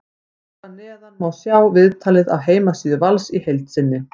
Hér að neðan má sjá viðtalið af heimasíðu Vals í heild sinni.